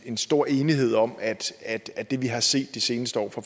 en stor enighed om at at det vi har set de seneste år